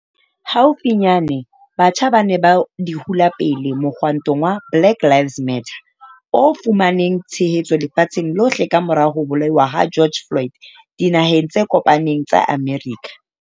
Haufinyane, batjha ba ne ba di hula pele mohwantong wa BlackLivesMatter o fumaneng tshehetso lefatsheng lohle kamora ho bolauwa ha George Floyd Dinaheng tse Kopaneng tsa Amerika.